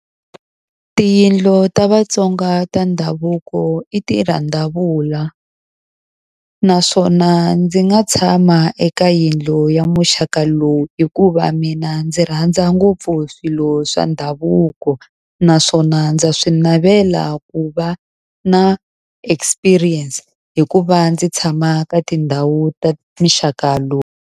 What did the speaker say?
I tiyindlu ta VaTsonga ta ndhavuko. I tirhandavula naswona ndzi nga tshama eka yindlu ya muxaka lowu hikuva mina ndzi rhandza ngopfu swilo swa ndhavuko. Naswona ndza swi navela ku va na experience hi ku va ndzi tshama ka tindhawu ta muxaka lowu.